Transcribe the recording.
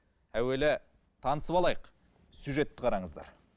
әуелі танысып алайық сюжетті қараңыздар